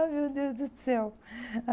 Ah, meu Deus do céu!